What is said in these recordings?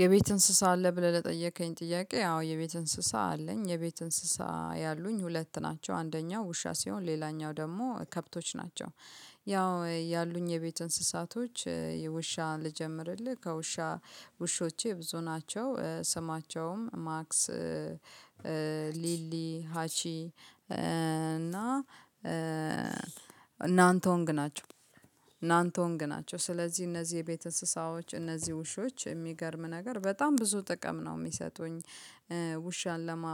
የቤት እንስሳ አለ ብለህ ለጠየቀኝ ጥያቄ አዎ የቤት እንስሳ አለኝ የቤት እንስሳ ያሉኝ ሁለት ናቸው አንደኛው ውሻ ሲሆን ሌላኛው ደግሞ ከብቶች ናቸው። ያው ያሉኝ የቤት እንስሳቶች የውሻን ልጀምርልህ ከውሻ ውሾቼ ብዙ ናቸው ስማቸውም ማክስ ሊሊ ሀቺ እና ናንተውንግ ናቸው ናንተውንግ ናቸው ስለዚህ እነዚህ የቤት እንስሳዎች እነዚህ ውሾች የሚገርምህ ነገር በጣም ብዙ ጥቅም ነው የሚሰጡኝ። ውሻን ለማ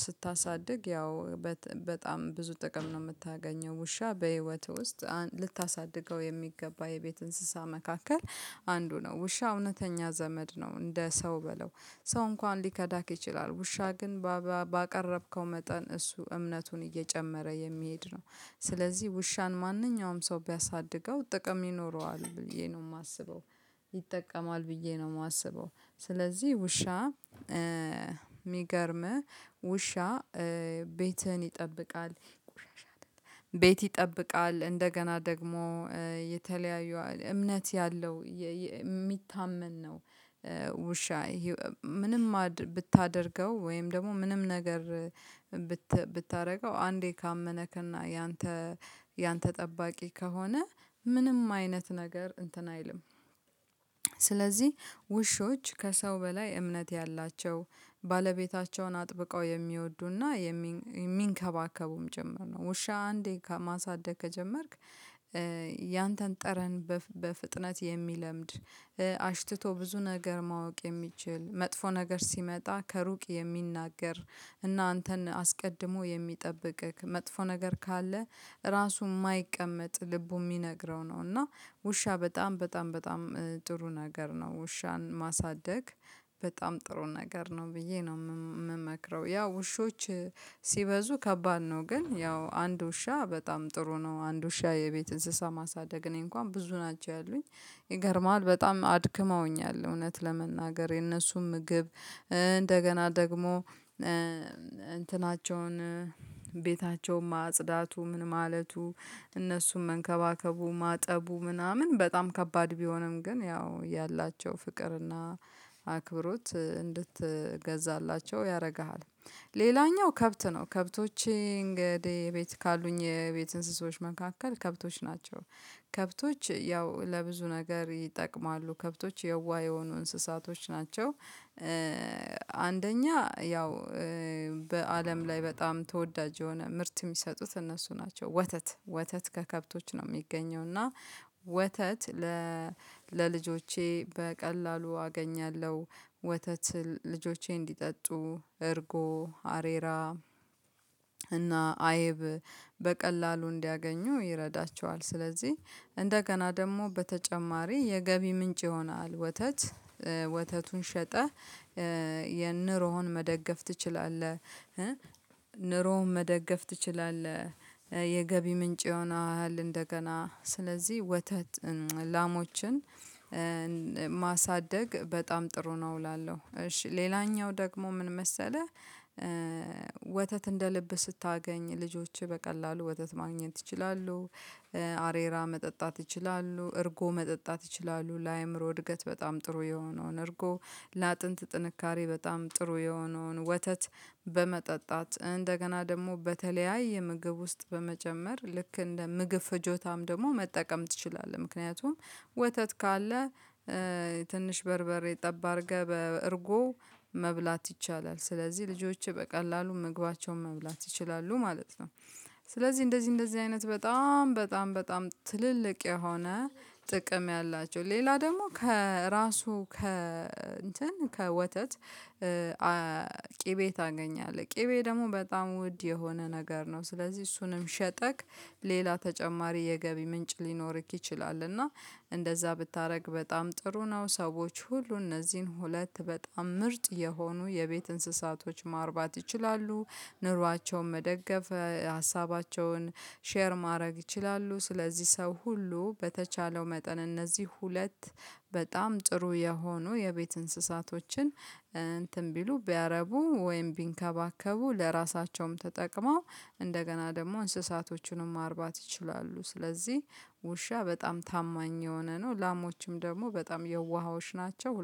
ስታሳድግ ያው በጥ በጣም ብዙ ጥቅም ነው የምታገኘው ውሻ በህይወትህ ውስጥ ልታሳድገው የሚገባ የቤት እንስሳ መካከል አንዱ ነው። ውሻ እውነተኛ ዘመድ ነው እንደ ሰው በለው ሰው እንኳን ሊከዳክ ይችላል። ውሻ ግን በ ባቀረብከው መጠን እሱ እምነቱን እየጨመረ የሚሄድ ነው። ስለዚህ ውሻን ማንኛውም ሰው ቢያሳድገው ጥቅም ይኖረዋል ብዬ ነው የማስበው። ይጠቀማል ብዬ ነው የማስበው። ስለዚህ ውሻ የሚገርምህ ውሻ ቤትህን ይጠብቃል። ቤት ይጠብቃል እንደገና ደግሞ የተለያዩ እምነት ያለው የሚታመን ነው። ውሻ ህ ምንም ማድ ብታደርገው ወይም ደግሞ ምንም ነገር ብት ብታደርገው አንዴ ካመነክና ያንተ ያንተ ጠባቂ ከሆነ ምንም አይነት ነገር እንትን አይልም። ስለዚህ ውሾች ከሰው በላይ እምነት ያላቸው ባለቤታቸውን አጥብቀው የሚወዱና የሚ የሚንከባከቡህም ጭምር ነው። ውሻ አንዴ ከ ማሳደግ ከጀመርክ። ያንተን ጠረን በፍ በፍጥነት የሚለምድ አሽትቶ ብዙ ነገር ማወቅ የሚችል መጥፎ ነገር ሲመጣ ከሩቅ የሚናገር እና አንተን አስቀድሞ የሚጠብቅህ መጥፎ ነገር ካለ ራሱ የማይቀመጥ ልቡ የሚነግረው ነው። እና ውሻ በጣም በጣም በጣም ጥሩ ነገር ነው። ውሻን ማሳደግ በጣም ጥሩ ነገር ነው ብዬ ነው ም የምመክረው። ያ ውሾች ሲበዙ ከባድ ነው ግን ያው አንድ ውሻ በጣም ጥሩ ነው። አንድ ውሻ የቤት እንስሳ ማሳደግ እኔ እንኳን ብዙ ናቸው ያሉኝ ይገርምሃል በጣም አድክመውኛል እውነት ለመናገር የነሱም ምግብ እንደገና ደግሞ እንትናቸውን ቤታቸውን ማጽዳቱ ምን ማለቱ እነሱን መንከባከቡ ማጠቡ ምናምን በጣም ከባድ ቢሆንም ግን ያው ያላቸው ፍቅርና አክብሮት እንድትገዛላቸው ያደርግሃል። ሌላኛው ከብት ነው። ከብቶቼ እንግዲህ ቤት ካሉኝ የቤት እንስሶች መካከል ከብቶች ናቸው። ከብቶች ያው ለብዙ ነገር ይጠቅማሉ ከብቶች የዋህ የሆኑ እንስሳቶች ናቸው። አንደኛ ያው በአለም ላይ በጣም ተወዳጅ የሆነ ምርት የሚሰጡት እነሱ ናቸው ወተት ወተት ከከብቶች ነው የሚገኘው። እና ወተት ለልጆቼ በቀላሉ አገኛለሁ ወተት ልጆቼ እንዲጠጡ እርጎ አሬራ እና አይብ በቀላሉ እንዲያገኙ ይረዳቸዋል። ስለዚህ እንደገና ደግሞ በተጨማሪ የገቢ ምንጭ ይሆናል። ወተት ወተቱን ሸጠህ የንሮህን መደገፍ ትችላለህ። ኑሮህን መደገፍ ትችላለህ የገቢ ምንጭ ይሆናል። እንደገና ስለዚህ ወተት ላሞችን ማሳደግ በጣም ጥሩ ነው እላለሁ። እሺ ሌላኛው ደግሞ ምን መሰለህ? ወተት እንደ ልብህ ስታገኝ ልጆችህ በቀላሉ ወተት ማግኘት እችላለሁ አ አሬራ መጠጣት ይችላሉ እርጎ መጠጣት ይችላሉ። ለአእምሮ እድገት በጣም ጥሩ የሆነውን እርጎ ለአጥንት ጥንካሬ በጣም ጥሩ የሆነውን ወተት በመጠጣት እንደገና ደግሞ በተለያየ ምግብ ውስጥ በመጨመር ልክ እንደ ምግብ ፍጆታም ደግሞ መጠቀም ትችላለህ። ምክንያቱም ወተት ካለ ትንሽ በርበሬ ጠብ አድርገህ በእርጎ መብላት ይቻላል ስለዚህ ልጆችህ በቀላሉ ምግባቸውን መብላት ይችላሉ ማለት ነው። ስለዚህ እንደዚህ እንደዚህ አይነት በጣም በጣም በጣም ትልልቅ የሆነ ጥቅም ነው። ያላቸው ሌላ ደግሞ ከራሱ ከ እንትን ከወተት አ ቂቤ ታገኛለህ ቂቤ ደግሞ በጣም ውድ የሆነ ነገር ነው። ስለዚህ እሱንም ሸጠክ ሌላ ተጨማሪ የገቢ ምንጭ ሊኖርክ ይችላል። እና እንደዛ ብታደርግ በጣም ጥሩ ነው። ሰዎች ሁሉ እነዚህን ሁለት በጣም ምርጥ የሆኑ የቤት እንስሳቶች ማርባት ይችላሉ። ኑሯቸውን መደገፍ ሀሳባቸውን ሼር ማድረግ ይችላሉ። ስለዚህ ሰው ሁሉ በተቻለው መጠን እነዚህ ሁለት በጣም ጥሩ የሆኑ የቤት እንስሳቶችን እንትን ቢሉ ቢያረቡ ወይም ቢንከባከቡ ለራሳቸውም ተጠቅመው እንደገና ደግሞ እንስሳቶቹንም ማርባት ይችላሉ። ስለዚህ ውሻ በጣም ታማኝ የሆነ ነው። ላሞችም ደግሞ በጣም የዋሆች ናቸው ሁ